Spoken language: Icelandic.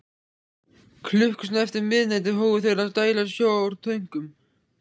Klukkustund eftir miðnætti hófu þeir að dæla sjó úr tönkunum.